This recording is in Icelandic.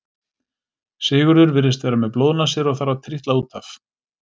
Sigurður virðist vera með blóðnasir og þarf að trítla út af.